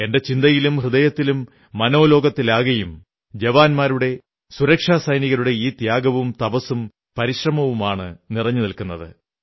എന്റെ ചിന്തയിലും ഹൃദയത്തിലും മനോലോകത്തിലാകെയും ജവാന്മാരുടെ സുരക്ഷാസൈനികരുടെ ഈ ത്യാഗവും തപസ്സും പരിശ്രമവുമാണ് നിറഞ്ഞു നിൽക്കുന്നത്